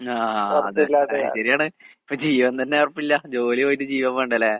ആഹ് അതെ. ശെരിയാണ് ഇപ്പ ജീവൻ തന്നെ ഒറപ്പില്ല. ജോലി പോയിട്ട് ജീവൻ വേണ്ടേല്ലേ?